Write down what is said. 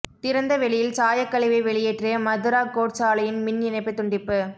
திறந்தவெளியில் சாயக் கழிவை வெளியேற்றிய மதுரா கோட்ஸ் ஆலையின் மின் இணைப்பு துண்டிப்பு